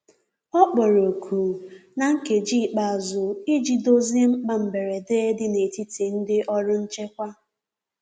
Ọ kpọrọ oku na nkeji ikpeazu ịjị dozie mkpa mgberede di n'etiti ndi ọrụ nchekwa